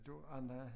Du andre